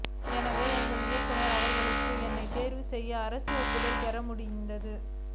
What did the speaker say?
எனவே எங்கள் இயக்குனர் அவர்களுக்கு என்னைத் தேர்வு செய்து அரசு ஒப்புதல் பெற முடிந்தது